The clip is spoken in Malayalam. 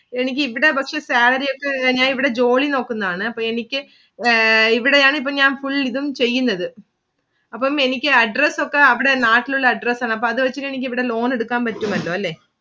എനിക്ക് ഇവിടെ പക്ഷെ salary ഒക്കെ. ഞാൻ ഇവിടെ ജോലി നോക്കുന്നയാണ്. അപ്പൊ എനിക്ക് ഇവിടെയാണ് ഇപ്പം ഞാൻ full ഇതും ചെയ്യുന്നത്. അപ്പം എനിക്ക് Address ഒക്കെ അവിടെ നാട്ടിലുള്ള Address ആണ്. അപ്പൊ അത് വെച്ചിട്ടു എനിക്ക് loan എടുക്കാൻ പറ്റുമല്ലോ അല്ലെ.